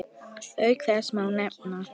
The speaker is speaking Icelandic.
Auk þess má nefna